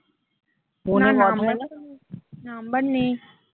না না number নেই।